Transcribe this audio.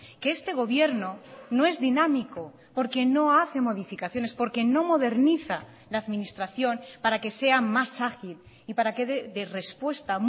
que este gobierno no es dinámico porque no hace modificaciones porque no moderniza la administración para que sea más ágil y para que dé respuesta